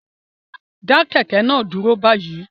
Dá kẹ̀kẹ́ náà dúró báyìí